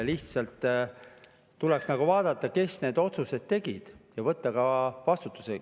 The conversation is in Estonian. Lihtsalt tuleks vaadata, kes need otsused tegid, ja võtta ka vastutus.